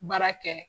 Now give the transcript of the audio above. Baara kɛ